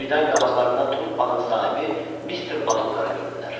Birdən qabaqlarında truppanın sahibi Mister Batulkarı gördülər.